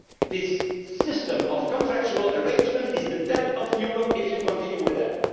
This system of contractual arrangements will be the death of Europe if you continue with it.